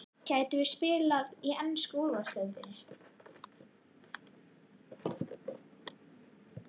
Gætum við spila í ensku úrvalsdeildinni?